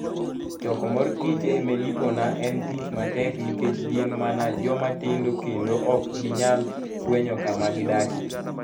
Choko mor kich e Melipona en tich matek nikech gin mana joma tindo kendo ok ginyal fwenyo kama gidakie.